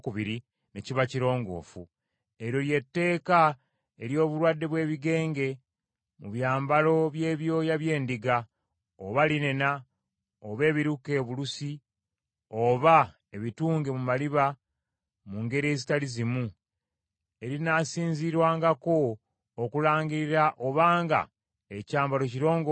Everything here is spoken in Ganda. Eryo lye tteeka ery’obulwadde bw’ebigenge mu byambalo by’ebyoya by’endiga, oba linena, oba ebiruke obulusi, oba ebitunge mu maliba mu ngeri ezitali zimu, erinaasinziirwangako okulangirira obanga ekyambalo kirongoofu oba si kirongoofu.